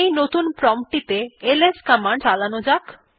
এই নতুন প্রম্পট টিতে এলএস কমান্ড চালান যাক